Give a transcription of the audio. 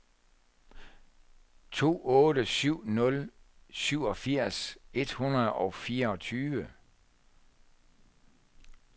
to otte syv nul syvogfirs et hundrede og fireogtyve